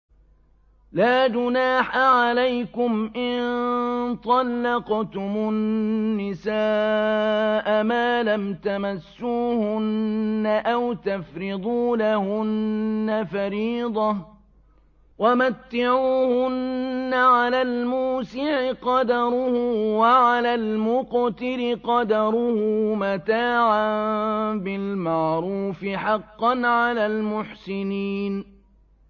لَّا جُنَاحَ عَلَيْكُمْ إِن طَلَّقْتُمُ النِّسَاءَ مَا لَمْ تَمَسُّوهُنَّ أَوْ تَفْرِضُوا لَهُنَّ فَرِيضَةً ۚ وَمَتِّعُوهُنَّ عَلَى الْمُوسِعِ قَدَرُهُ وَعَلَى الْمُقْتِرِ قَدَرُهُ مَتَاعًا بِالْمَعْرُوفِ ۖ حَقًّا عَلَى الْمُحْسِنِينَ